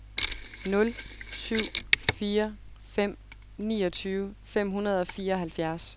nul syv fire fem niogtyve fem hundrede og fireoghalvfjerds